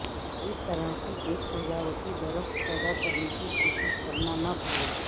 اس طرح ایک سجاوٹی درخت پیدا کرنے کی کوشش کرنا نہ بھولیں